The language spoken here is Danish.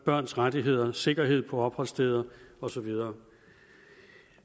børns rettigheder og sikkerhed på opholdssteder og så videre